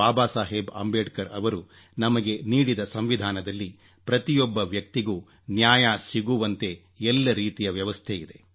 ಬಾಬಾಸಾಹೇಬ್ ಅಂಬೇಡ್ಕರ್ ಅವರು ನಮಗೆ ನೀಡಿದ ಸಂವಿಧಾನದಲ್ಲಿ ಪ್ರತಿಯೊಬ್ಬ ವ್ಯಕ್ತಿಗೂ ನ್ಯಾಯ ಸಿಗುವಂತೆ ಎಲ್ಲ ರೀತಿಯ ವ್ಯವಸ್ಥೆಯಿದೆ